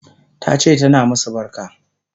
Tace tana masu barka